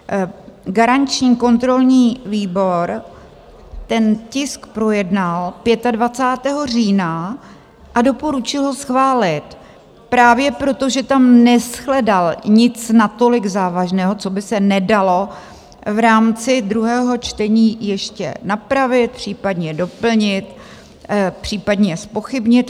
Garanční kontrolní výbor ten tisk projednal 25. října a doporučil ho schválit právě proto, že tam neshledal nic natolik závažného, co by se nedalo v rámci druhého čtení ještě napravit, případně doplnit, případně zpochybnit.